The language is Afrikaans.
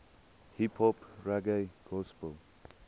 hiphop reggae gospel